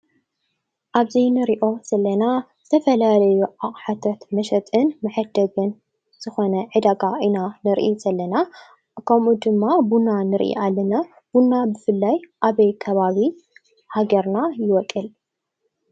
ኣብዚ ንሪኦ ዘለና ዝተፈላለዩ አቅሓታት መሸጥን መዐደግን ዝኾነ ዕዳጋ ኢና ንርኢ ዘለና ። ከምኡ ድማ ቡና ንርኢ አለና። ቡና ብፍላይ አበይ ከባቢ ሃገርና ይቦቅል?